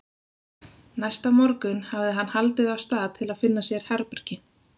Næsta morgun hafði hann haldið af stað til að finna sér herbergi.